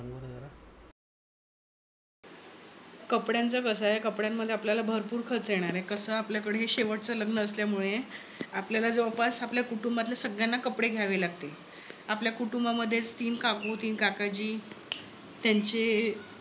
कपड्यांचं कस आहे. कपड्यान मध्ये आपल्याला भरपूर खर्च येणार आहे. कस आपल्याकड हे शेवटच लग्न असल्यामुळे आपल्यला जवळपास आपल्या कुटुंबातील सगळ्यांना कपडे घ्यावे लागतील. आपल्या कुटुंबामधेच तीन काकू तीन काकाजी त्यांचे